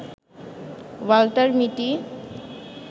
Walter মিটি